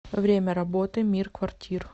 время работы мир квартир